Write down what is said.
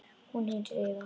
Hún heitir Eva.